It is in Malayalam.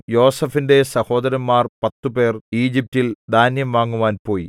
യോസേഫിന്റെ സഹോദരന്മാർ പത്തുപേർ ഈജിപ്റ്റിൽ ധാന്യം വാങ്ങുവാൻ പോയി